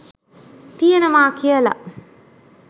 ති‍යෙනවා කියලා